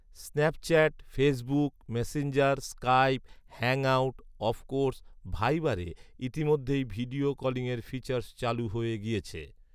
Snapchat, Facebook Messenger, Skype, Hangouts, of course, ভাইবারে ইতিমধ্যেই video কলিংয়ের ফিচার্স চালু হয়ে গিয়েছে